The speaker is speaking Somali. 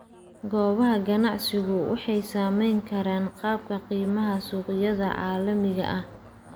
Goobaha ganacsigu waxay saameyn karaan qaabka qiimaha suuqyada caalamiga ah.